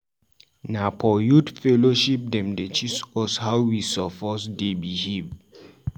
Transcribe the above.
Na for youth fellowship dem dey teach us how we suppose dey behave.